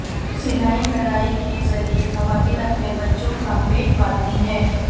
سلائی کڑھائی کے ذریعے خواتین اپنے بچوں کا پیٹ پالتی ہیں